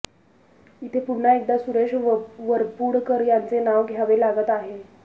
इथे पुन्हा एकदा सुरेश वरपुडकर यांचे नाव घ्यावे लागत आहे